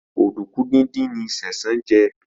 Oduku dín dín ní Sesan jé.